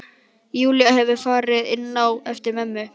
Júlía hefur farið inn á eftir mömmu.